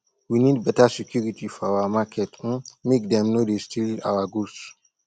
we need beta security for our market um make dem no dey steal our goods